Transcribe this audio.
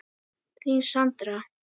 Þín Sandra.